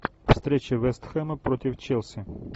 встреча вестхэма против челси